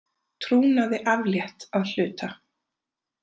Trúnaði aflétt að hluta